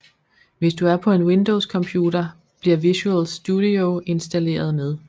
Hvis du er på en windows computer bliver Visual Studio installeret med